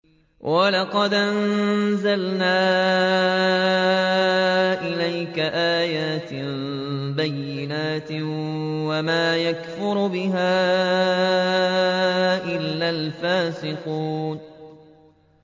وَلَقَدْ أَنزَلْنَا إِلَيْكَ آيَاتٍ بَيِّنَاتٍ ۖ وَمَا يَكْفُرُ بِهَا إِلَّا الْفَاسِقُونَ